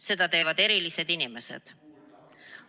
Seda teevad erilised inimesed.